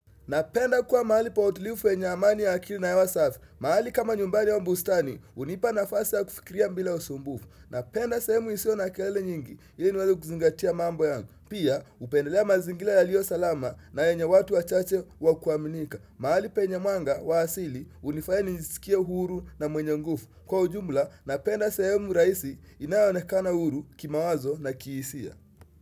Napenda kuwa mahali pa utilivu yenye amani ya akili na hewa safi. Mahali kama nyumbani au bustani, hunipa nafasi ya kufikiria bila usumbufu. Napenda sehemu isiyo na kelele nyingi, ili niwee kuzingatia mambo yangu. Pia, hupendelea mazingira yaliyo salama na yenye watu wachache wa kuaminika. Mahali penye mwanga wa asili, hunifanya nijisikie huru na mwenye nguvu. Kwa ujumla, napenda sehemu rahisi inayoonekana huru kimawazo na kihisia.